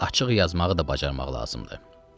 Açıq yazmağı da bacarmaq lazımdır.